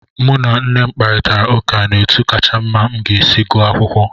Mụ na nne m kparịtara ụka n'otu kacha mma m ga-esi gụọ akwụkwọ.